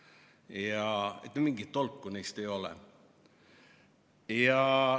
Ja mingit tolku neist ei ole.